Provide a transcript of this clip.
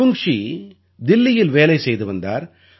அவுங்ஷீ தில்லியில் வேலை செய்து வந்தார்